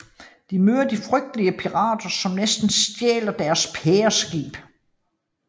De møder de frygtelige pirater som næsten stjæler deres pæreskib